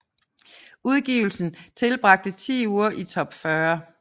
Udgivelsen tilbragte 10 uger i top 40